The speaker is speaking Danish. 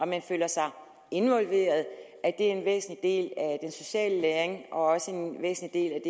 man føler sig involveret er en væsentlig del af den sociale læring og også en væsentlig